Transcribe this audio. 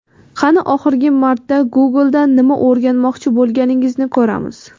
qani oxirgi marta Google dan nima o‘rganmoqchi bo‘lganingizni ko‘ramiz.